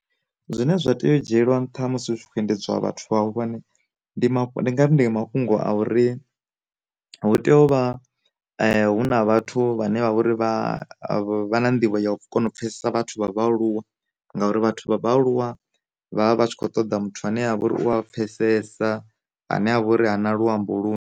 Zwine zwa tea u dzhiela nṱha musi hu tshi khou endedzwa vhathu vhahulwane, ndi mafhu ndi ngari mafhungo a uri, hu tea u vha huna vhathu vhane vha uri vha vha na nḓivho ya u kona u pfesesa vhathu vha vhaaluwa ngauri vhathu vha vhaaluwa vhavha vhatshi kho ṱoḓa muthu ane avha uri u a pfesesa ane a vha uri ha na lwuambo lwu .